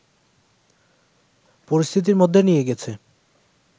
পরিস্থিতির মধ্যে নিয়ে গেছে